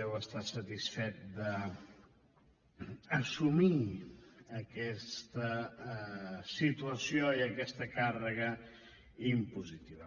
deu estar satisfet d’assumir aquesta situació i aquesta càrrega impositiva